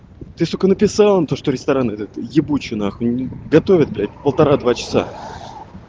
ты сука написала то что ресторан этот ебучуй нахуй готовят блять полтора-два часа